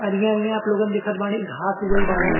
अरिया अरिया आप लोगन देखत बाड़ी घास उगल बाड़े।